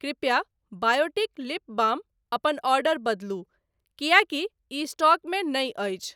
कृपया Biotique lip balm अपन order बदलू किएकि इ स्टॉक मे नहि अछि।